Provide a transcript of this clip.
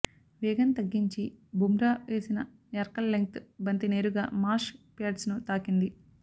వేగం తగ్గించి బుమ్రా వేసిన యార్కర్ లెంగ్త్ బంతి నేరుగా మార్ష్ ప్యాడ్స్ను తాకింది